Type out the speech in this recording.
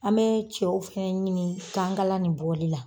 An bɛɛ cɛw fɛnɛ ɲini kankala nin bɔli la